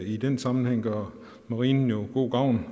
i den sammenhæng gør marinen jo god gavn